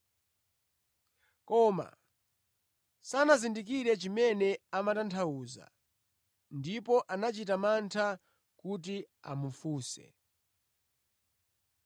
Koma sanazindikire chimene amatanthauza, ndipo anachita mantha kuti amufunse.